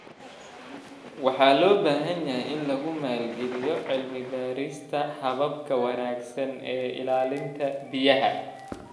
Waxaa loo baahan yahay in lagu maalgeliyo cilmi baarista hababka wanaagsan ee ilaalinta biyaha.